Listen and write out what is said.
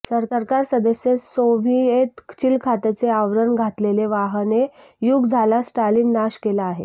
सरकार सदस्य सोव्हिएत चिलखताचे आवरण घातलेला वाहने युग झाला स्टालिन नाश केला आहे